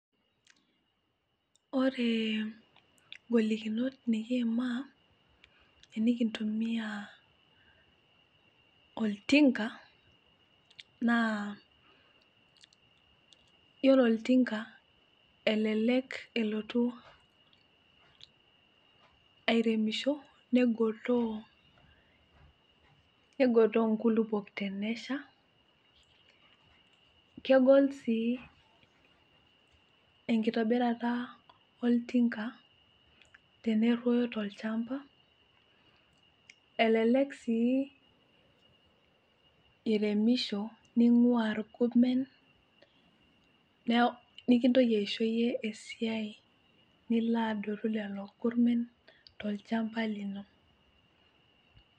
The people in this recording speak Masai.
Ore inkolikinot nikiima naa yiolo oltinga elelek elotu airemisho negotoo inkulupuok tenesha kegol sii enkitobirata oltinka teniroyo tolchamba elelek sii eiremisho neing'ua inkoben nikintoki aisho iyie esiai nilo adotu lelo gurmen tolchamba lino.